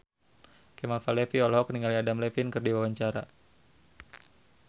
Kemal Palevi olohok ningali Adam Levine keur diwawancara